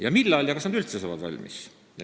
Ja millal ja kas nad üldse saavad valmis?